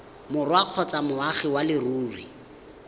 borwa kgotsa moagi wa leruri